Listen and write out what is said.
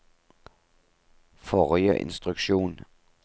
forrige instruksjon